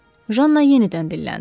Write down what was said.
Janna yenidən dilləndi.